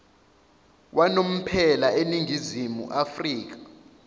wanomphela eningizimu afrika